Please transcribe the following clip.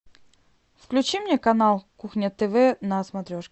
включи мне канал кухня тв на смотрешке